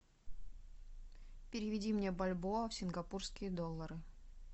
переведи мне бальбоа в сингапурские доллары